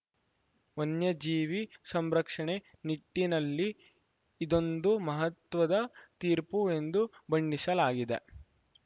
ವನ್ಯಜೀವಿ ಸಂರಕ್ಷಣೆ ನಿಟ್ಟಿನಲ್ಲಿ ಇದೊಂದು ಮಹತ್ವದ ತೀರ್ಪು ಎಂದು ಬಣ್ಣಿಸಲಾಗಿದೆ